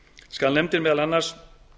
skal nefndin meðal annars